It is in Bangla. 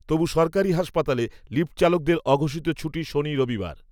তবু সরকারি হাসপাতালে, লিফ্টচালকদের অঘোষিত ছুটি শনি রবিবার